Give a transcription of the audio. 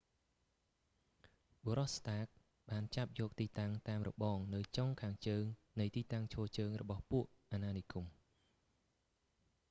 បុរស ស្តាក stark បានចាប់យកទីតាំងតាមរបងនៅចុងខាងជើងនៃទីតាំងឈរជើងររបស់ពួកអាណានិគម